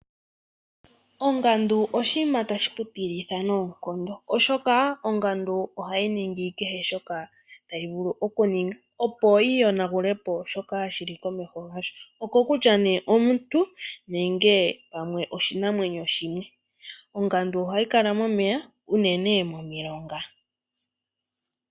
Ongandu oshinima ta shi kutilitha noonkondo, oshoka ongandu oha yi ningi kehe shoka tayi vulu okuninga opo yi yonagulepo shoka shili komeho yasho, okutya omuntu nenge oshinamwento shimwe. Ongandu oha yi kala momeya, unene momilonga.